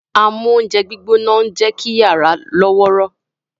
Amóúnjẹgbóná ń jẹ́ kí yàrá lọ́wọ́rọ́